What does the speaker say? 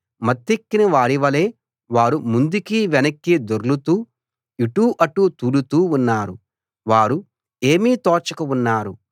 మత్తెక్కిన వారివలె వారు ముందుకి వెనక్కి దొర్లుతూ ఇటు అటు తూలుతూ ఉన్నారు వారు ఏమీ తోచక ఉన్నారు